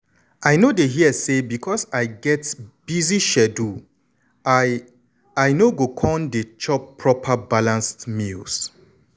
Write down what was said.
i no dey hear say because i get busy schedule i i no go con dey chop proper balanced meals.